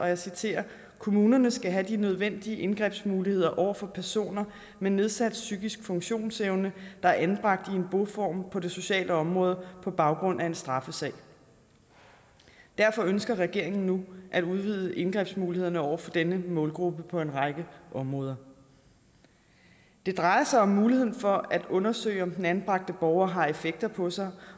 jeg citerer at kommunerne skal have de nødvendige indgrebsmuligheder over for personer med nedsat psykisk funktionsevne der er anbragt i en boform på det sociale område på baggrund af en straffesag derfor ønsker regeringen nu at udvide indgrebsmulighederne over for denne målgruppe på en række områder det drejer sig om muligheden for at undersøge om den anbragte borger har effekter på sig